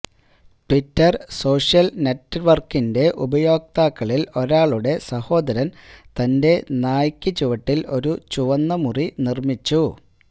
Twitter social നെറ്റ് വർക്കിന്റെ ഉപയോക്താക്കളിൽ ഒരാളുടെ സഹോദരൻ തന്റെ നായയ്ക്ക് ചുവട്ടിൽ ഒരു ചുവന്ന മുറി നിർമ്മിച്ചു